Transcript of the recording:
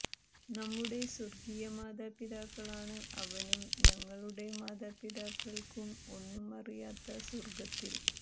നമ്മുടെ സ്വർഗീയ മാതാപിതാക്കളാണ് അവനും ഞങ്ങളുടെ മാതാപിതാക്കൾക്കും ഒന്നും അറിയാത്ത സ്വർഗ്ഗത്തിൽ